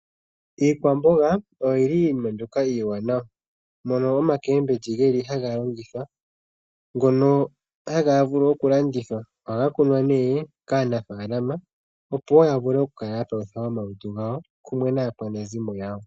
Iikwamboga oyili, iinima mbyoka iiwanawa mono omakembilyi geli haga longithwa, ngono haga vulu okulandithwa ohaga kunwa ne kaanafalama opowo ya vule oku kala yapalutha omalutu gawo kumwe naa kwanezimo yawo.